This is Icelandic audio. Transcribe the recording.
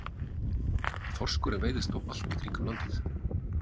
Þorskurinn veiðist þó allt í kringum landið.